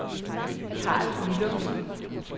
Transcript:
Carl Willumsen